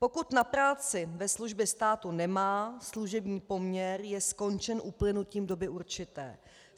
Pokud na práci ve službě státu nemá, služební poměr je skončen uplynutím doby určité.